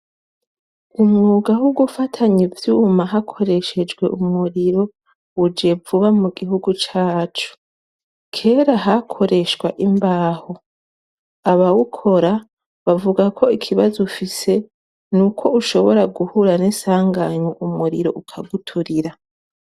Umwuga wo gufatanya ivyuma hakoreshejwe umuriro uje vuba mu gihugu cacu, kera hakoreshwa imbaho, abawukora bavuga ko ikibazo ufise n'uko ushobora guhura n'isanganya umuriro ukaguturira.